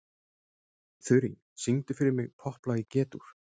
Þurý, syngdu fyrir mig „Popplag í G-dúr“.